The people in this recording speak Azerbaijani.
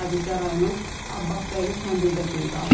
Hadisə rayonun Abbasbəyli kəndində qeydə alınıb.